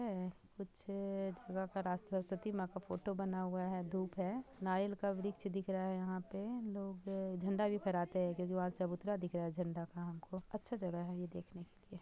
--है कुछ जगह का रास्ता सरसती माँ का फोटो बना हुआ है धुप है नाइल का वृक्ष दिख रहा है यहाँ पे लोग झंडा भी फहराते है क्युकी वहां से चबूतरा दिख रहा है झंडा हमको अच्छा जगह है ये देखने के लिए---